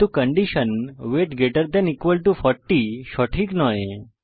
কিন্তু condition weight greater than equal to 40 সঠিক নয়